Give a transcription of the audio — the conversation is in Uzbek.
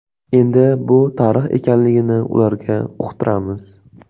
Endi bu tarix ekanligini ularga uqtiramiz.